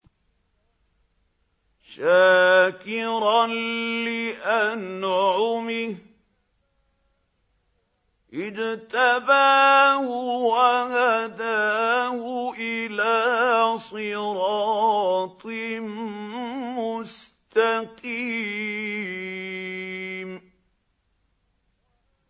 شَاكِرًا لِّأَنْعُمِهِ ۚ اجْتَبَاهُ وَهَدَاهُ إِلَىٰ صِرَاطٍ مُّسْتَقِيمٍ